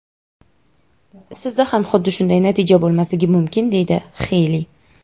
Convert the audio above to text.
sizda ham xuddi shunday natija bo‘lmasligi mumkin deydi Xeyli.